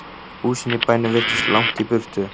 Húsin í bænum virtust langt í burtu.